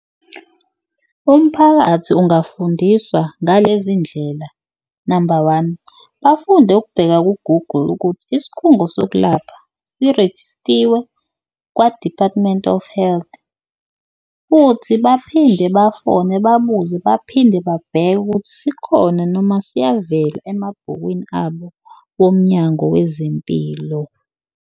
Umphakathi ungafundiswa ngalezi ndlela, namba one, bafunde ukubheka ku-Google ukuthi isikhungo sokulapha sirejistiwe kwa-Department of Health futhi baphinde bafone babuze, baphinde babheke ukuthi sikhona noma siyavela emabhukwini abo woMnyango wezeMpilo.